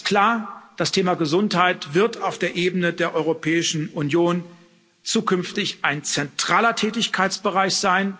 Eins ist klar Das Thema Gesundheit wird auf der Ebene der Europäischen Union zukünftig ein zentraler Tätigkeitsbereich sein,